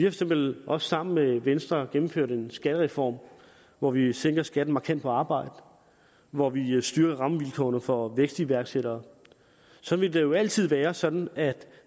eksempel også sammen med venstre gennemført en skattereform hvor vi sænker skatten markant på arbejde hvor vi styrker rammevilkårene for vækstiværksættere og så vil det jo altid være sådan at